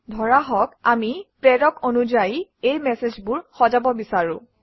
ধৰা হওক আমি প্ৰেৰক অনুযায়ী এই মেচেজবোৰ সজাব বিচাৰোঁ